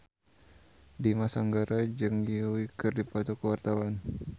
Dimas Anggara jeung Yui keur dipoto ku wartawan